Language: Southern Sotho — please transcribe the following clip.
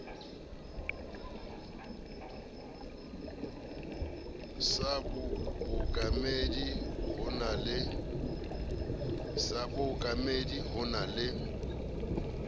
sa bookamedi ho na le